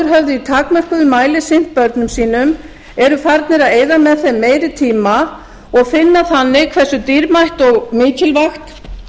í takmörkuðum mæli sinnt börnum sínum eru farnir að eyða með þeim meiri tíma og finna þannig hversu dýrmætt og mikilvægt